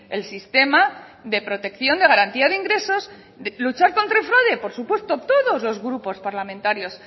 el sistema de protección de garantía de ingresos luchar contra el fraude por supuesto todos los grupos parlamentarios